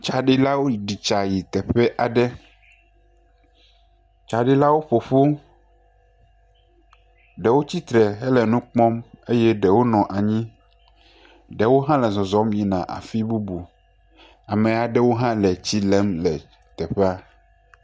Tsɖilawo ɖi tsa yi teƒe aɖe, tsaɖilawo ƒoƒu, ɖewo tsitre eye ɖewo hã nɔ anyi, ɖewo hã le zɔzɔm yina afi bubu, ame aɖewo hã le tsi lem le teƒea.